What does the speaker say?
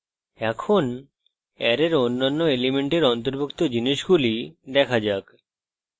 এখন অ্যারের অন্যান্য elements অন্তর্ভুক্ত জিনিসগুলি দেখা যাক